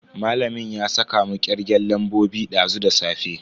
Malamin ya saka mu kirgen lambobi dazu da safe.